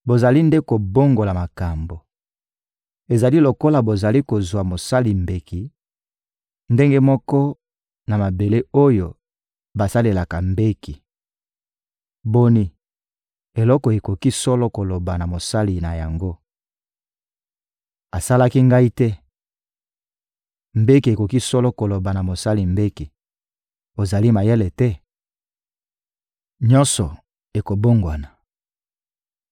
Bozali nde kobongola makambo! Ezali lokola bozali kozwa mosali mbeki ndenge moko na mabele oyo basalelaka mbeki. Boni, eloko ekoki solo koloba na mosali na yango: «Asalaki ngai te?» Mbeki ekoki solo koloba na mosali mbeki: «Ozali mayele te?» Nyonso ekobongwana